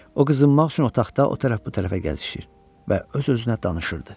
O qızınmaq üçün otaqda o tərəf-bu tərəfə gəzişir və öz-özünə danışırdı.